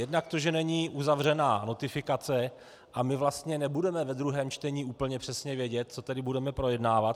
Jednak to, že není uzavřena notifikace a my vlastně nebudeme ve druhém čtení úplně přesně vědět, co tedy budeme projednávat.